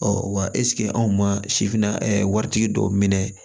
wa anw ma sifinna waritigi dɔw minɛ